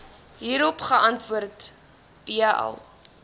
hierop geantwoord bl